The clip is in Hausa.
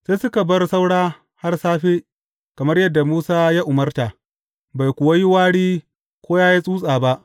Sai suka bar saura har safe, kamar yadda Musa ya umarta, bai kuwa yi wari ko yă yi tsutsa ba.